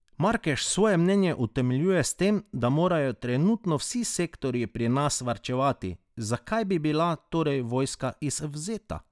Markeš svoje mnenje utemeljuje s tem, da morajo trenutno vsi sektorji pri nas varčevati, zakaj bi bila torej vojska izvzeta?